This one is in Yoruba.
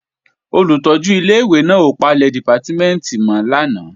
Olùtọ́jú ilé-ìwé náà ò palẹ̀ dìpátímẹ̀ntì mọ́ lánàá